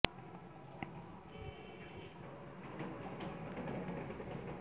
নাসরীন আহমাদ ও সম্মানিত অতিথি ও মূখ্য বক্তা হিসেবে উপস্থিত ছিলেন অধ্যাপক ড